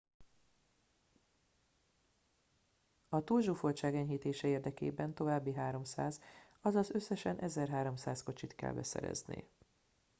a túlzsúfoltság enyhítése érdekében további 300 azaz összesen 1300 kocsit kell beszerezni